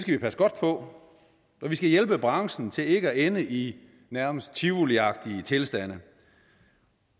vi passe godt på vi skal hjælpe branchen til ikke at ende i nærmest tivoliagtige tilstande